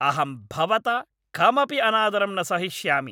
अहं भवता कमपि अनादरं न सहिष्यामि।